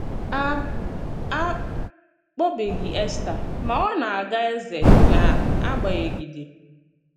À À kpọ̀bèbèghì Éstà, mà ọ na-àgà èzè nà àgbànyègídè.